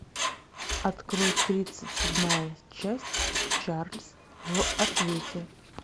открой тридцать седьмая часть чарльз в ответе